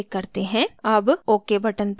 अब ok button पर click करें